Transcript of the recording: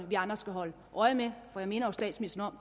vi andre skal holde øje med for jeg minder statsministeren